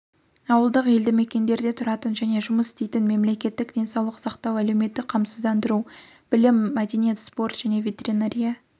ауылдық елдімекендерде тұратын және жұмыс істейтін мемлекеттік денсаулық сақтау әлеуметтік қамсыздандыру білім мәдениет спорт және ветеринария